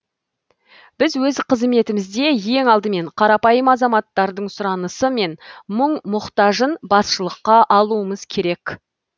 біз өз қызметімізде ең алдымен қарапайым азаматтардың сұранысы мен мұң мұқтажын басшылыққа алуымыз керек